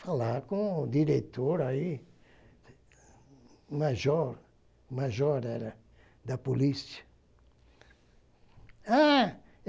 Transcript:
Falar com o diretor, aí, o major o major era da polícia. Ah